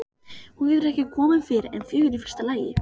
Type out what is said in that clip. Hún getur ekki komið fyrr en fjögur í fyrsta lagi.